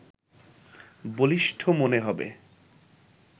বলিষ্ঠ মনে হবে